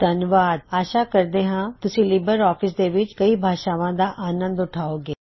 ਧੰਨਵਾਦ ਆਸ਼ਾ ਕਰਦੇ ਹਾਂ ਤੁਸੀ ਲਿਬਰ ਔਫਿਸ ਦੇ ਵਿੱਚ ਕਈ ਭਾਸ਼ਾਵਾਂ ਦਾ ਆਨੰਦ ਉਠਾਵੋਂ ਗੇ